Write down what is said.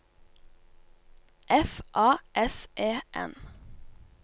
F A S E N